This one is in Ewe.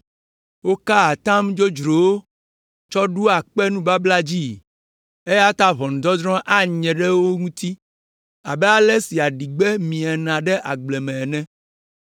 Wokaa atam dzodzrowo tsɔ ɖoa kpe nubabla dzii, eya ta ʋɔnudɔdrɔ̃ anye ɖe wo ŋuti abe ale si aɖigbe miena ɖe agble me ene.